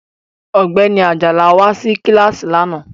Ọ̀gbẹ́ni Ajala wá sí kíláàsì lánàá